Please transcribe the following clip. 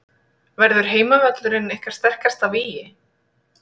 Verður heimavöllurinn ykkar sterkasta vígi?